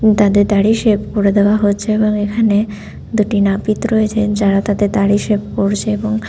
তাদের দাড়ি শেভ করে দেয়া হচ্ছে। এবং এখানে দুটো নাপিত রয়েছে। যারা তাদের দাড়ি শেভ করেছে। এবং--